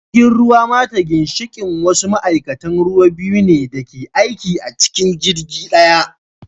Jirgin ruwa mate ginshiki wasu ma'aikatan ruwa biyu ne da ke aiki a cikin jirgi daya